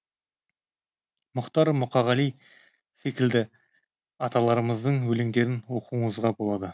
мұхтар мұқағали секілді аталарымыздың өлеңдерін оқуыңызға болады